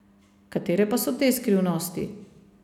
Katere pa so te skrivnosti?